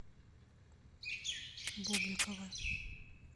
бубликова